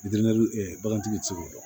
bagantigi ti se k'o dɔn